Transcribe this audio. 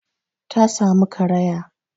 Ta samu karaya